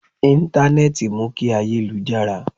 Intanẹẹti mú kí ayé lu jára